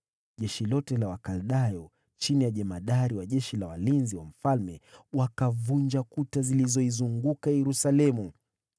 Jeshi lote la Wakaldayo, chini ya jemadari wa askari walinzi wa mfalme, walivunja kuta zilizoizunguka Yerusalemu.